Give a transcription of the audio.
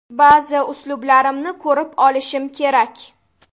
Ba’zi uslublarimni ko‘rib olishim kerak.